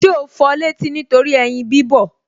Ṣé o fọ létí nítorí ẹyin bí bọ̀